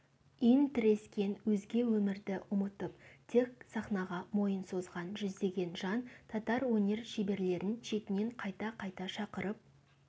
иінтірескен өзге өмірді ұмытып тек сахнаға мойын созған жүздеген жан татар өнер шеберлерін шетінен қайта-қайта шақырып